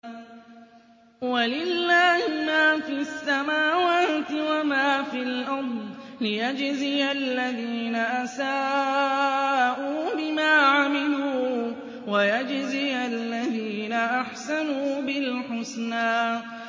وَلِلَّهِ مَا فِي السَّمَاوَاتِ وَمَا فِي الْأَرْضِ لِيَجْزِيَ الَّذِينَ أَسَاءُوا بِمَا عَمِلُوا وَيَجْزِيَ الَّذِينَ أَحْسَنُوا بِالْحُسْنَى